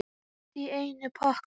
Allt í einum pakka!